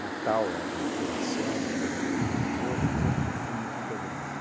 Natal era uma piração pelo número de pessoas, mas eu nunca fui muito integrado.